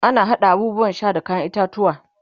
ana haɗa abubuwan Sha da kayan itatauwa